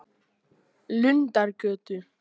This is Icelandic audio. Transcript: Lundargötu